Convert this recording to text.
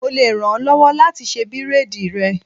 Mo le ràn ọ́ lọ́wọ́ láti ṣe bírádìì rẹ.